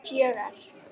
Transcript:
fjögra